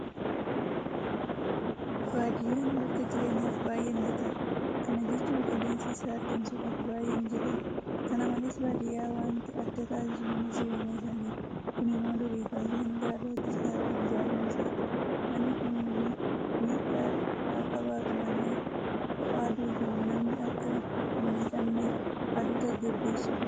Baadiyyaan bakka jireenyaaf baay'ee mijataadha. Kana jechuun qilleensi isaa hargansuudhaaf baay'ee mijataadha. Kana malees baadiyyaa waanti adda taasisu mana jireenyaa isaaniiti. Kun immoo durii kaasee hanga har'aatti Citaadhaan ijaaramuu isaati. Manni kun miidhaa haaqabaatu malee ho'a aduutiin namni akka hinmiidhamneef aduu tasgabbeessuu danda'a.